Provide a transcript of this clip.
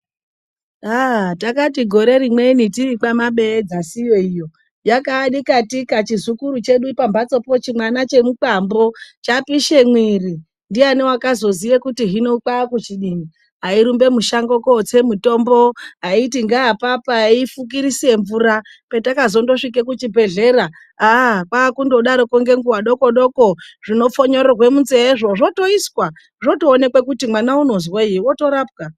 Haa takati gore rinweni tiri kwaMabeye dzasi iyo iyo yakaani katika chizukuru chedu pambatsopo chimwana chemukwambo. chapishe mwiri, ndiani wakazoziye kuti hino kwaakuchidini. aiirumbe mushango kotse mutombo, aiti ngeapapa, aifukirise mvura, petakazondosvike kuchibhedhlera aaa kwakungodaroko ngenguwa doko doko zvinofonyorerwe munzeye zvoo ,zvotoiswa zvotoonekwa kuti mwana unozwei, otorapwa.